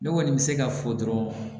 Ne kɔni bɛ se ka fɔ dɔrɔn